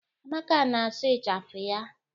Amaka na-asụ ịchafụ ya.